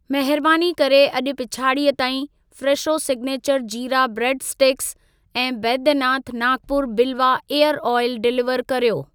महिरबानी करे अॼि पिछाड़ीअ ताईं Fresho signature jeera bread sticks ऐं Baidyanath Nagpur Bilwa ear oil deliver कर्यो।